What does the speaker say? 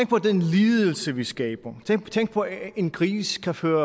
på den lidelse vi skaber tænk på at en gris kan føle